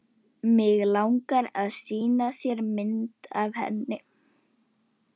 Hann gat svo sem ímyndað sér hvernig honum leið.